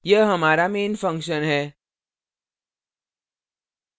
यह हमारा main function है